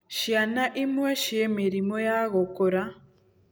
Ciana imwe ciĩ mĩrimũ ya gũkũra.